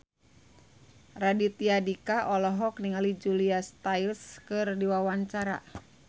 Raditya Dika olohok ningali Julia Stiles keur diwawancara